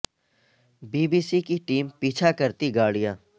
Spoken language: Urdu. بی بی سی کی ٹیم کا پیچھا کرتی گاڑیاں